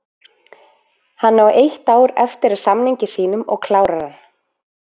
Hann á eitt ár eftir af samningi sínum og klárar hann.